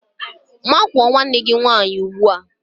Makụọ nwanne gị nwaanyị ugbua!